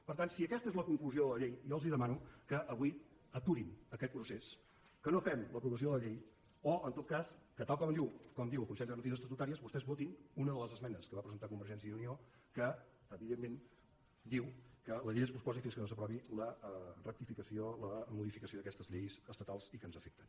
per tant si aquesta és la conclusió de la llei jo els demano que avui aturin aquest procés que no fem l’aprovació de la llei o en tot cas que tal com diu el consell de garanties estatutàries vostès votin una de les esmenes que va presentar convergència i unió que evidentment diu que la llei es posposi fins que no s’aprovi la rectificació la modificació d’aquestes lleis estatals i que ens afecten